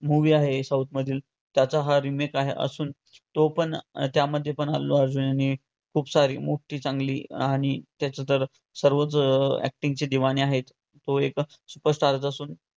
movie आहे south मधील त्याचा हा remake आहे असून तो पण त्यामध्येही अर्जुनने खूप सारी मोठी चांगली आणि त्याचे तर सर्वच acting चे आहेत तो एकच superstar असून